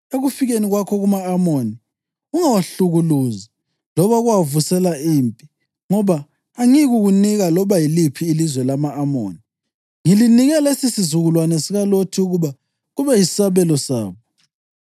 Ekufikeni kwakho kuma-Amoni, ungawahlukuluzi loba ukuwavusela impi, ngoba angiyikukunika loba yiliphi ilizwe lama-Amoni. Ngilinike lesisizukulwane sikaLothi ukuba kube yisabelo sabo.’ ”